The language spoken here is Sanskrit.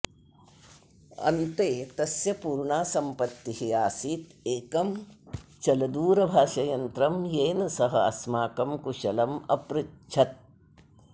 अन्ते तस्य पूर्णा सम्पत्तिः आसीत् एकं चलदूरभाषयन्त्रं येन सः अस्माकं कुशलम् अपृच्छत्